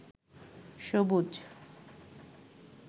সবুজ